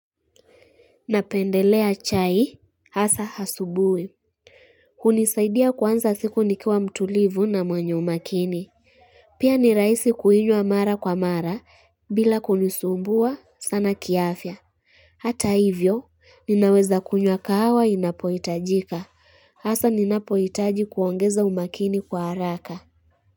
Napendelea chai, hasa asubuhi. Hunisaidia kwanza siku nikua mtulivu na mwenye umakini. Pia ni rahisi kuinywa mara kwa mara, bila kunisumbua sana kiafya. Hata hivyo, ninaweza kunywa kahawa inapohitajika. Hasa ninapoitaji kuongeza umakini kwa haraka.